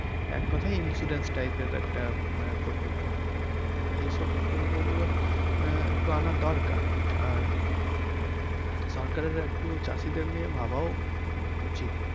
এক কথায় insurance type এর একটা আহ প্রকল্প তো এইসব প্রকল্প গুলো আহ একটু আনা দারকার আর সরকারের একটু চাষীদের নিয়ে ভাবাও উচিত।